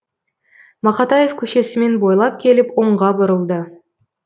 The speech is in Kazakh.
мақатаев көшесімен бойлап келіп оңға бұрылды